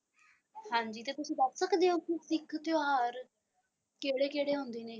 ਹਾਂਜੀ ਤੁਸੀਂ ਦੱਸ ਸਕਦੇ ਹੋ ਕਿ ਸਿੱਖ ਤਿਉਹਾਰ ਕਿਹੜੇ ਕਿਹੜੇ ਹੁੰਦੇ ਨੇ?